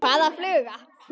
Hvaða fluga?